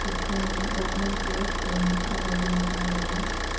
Picture में government का building दिखाई दे रहा है।